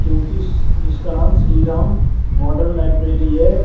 क्योंकि इस जिसका नाम श्री राम मॉडर्न लाइब्रेरी है।